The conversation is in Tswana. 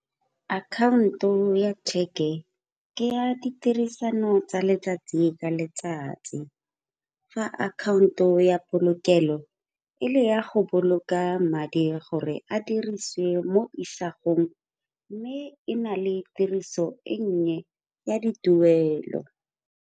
Akhaonto ya cheque ke ya ditirisano tsa letsatsi ka letsatsi. Fa akhaonto ya polokelo e le ya go boloka madi, gore a dirisiwe mo isagong mme e na le tiriso e nnye ya dituelo.